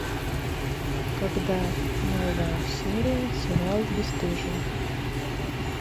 когда новая серия сериал бесстыжие